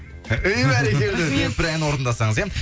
әй бәрекелді рахмет бір ән орындасаңыз иә